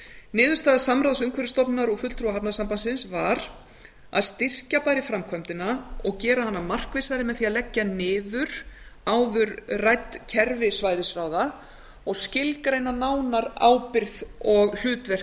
niðurstaða samráðs umhverfisstofnunar og fulltrúa hafnasambandsins var að styrkja bæri framkvæmdina og gera hana markvissari með því að leggja niður áður rædd kerfi svæðisráða og skilgreina nánar ábyrgð og hlutverk